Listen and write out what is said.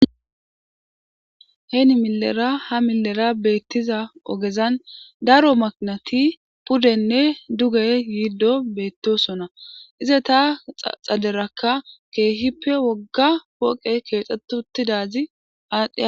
heeni milera ha milera beettiza ogezan daro magnati puddenne duge yiiddo beettosona ize ta xaderakka keehippe wogga woqe keexxetutidazi aadhe